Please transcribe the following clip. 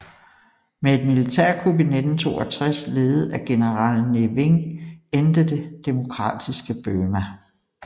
Med et militærkup i 1962 ledet af general Ne Win endte det demokratiske Burma